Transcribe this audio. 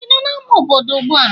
Ị nọ n'amá obodo ugbu a?